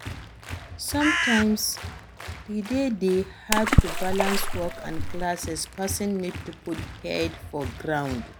Sometimes e de dey hard to balance work and classes person need to put head for ground